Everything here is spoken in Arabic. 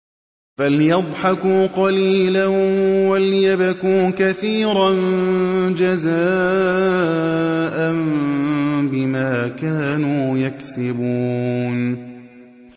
فَلْيَضْحَكُوا قَلِيلًا وَلْيَبْكُوا كَثِيرًا جَزَاءً بِمَا كَانُوا يَكْسِبُونَ